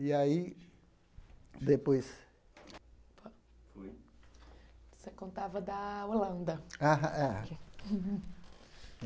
E aí, depois... Você contava da Holanda. ah ah